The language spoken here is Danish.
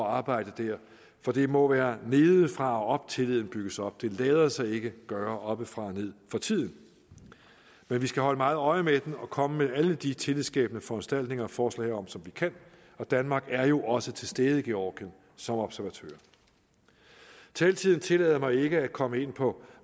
at arbejde der for det må være nedefra og op tilliden bygges op det lader sig ikke gøre oppefra og ned for tiden men vi skal holde meget øje med det og komme med alle de tillidsskabende foranstaltninger og forslag som vi kan danmark er jo også til stede i georgien som observatør taletiden tillader mig ikke at komme ind på